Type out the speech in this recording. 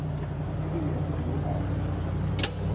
e le yena yo a